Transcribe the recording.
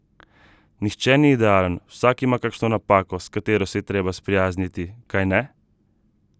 Nihče ni idealen, vsak ima kakšno napako, s katero se je treba sprijazniti, kajne?